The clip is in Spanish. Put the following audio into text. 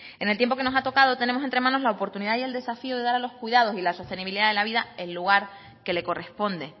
en el tiempo que nos ha tocado tenemos entre manos la oportunidad y el desafío de dar a los cuidados y la sostenibilidad de la vida el lugar que le corresponde